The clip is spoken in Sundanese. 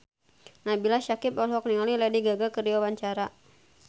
Nabila Syakieb olohok ningali Lady Gaga keur diwawancara